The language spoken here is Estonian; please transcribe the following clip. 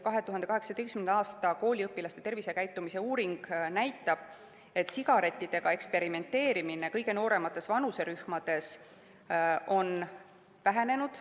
2018. aasta kooliõpilaste tervisekäitumise uuring näitab, et sigarettidega eksperimenteerimine kõige nooremates vanuserühmades on vähenenud.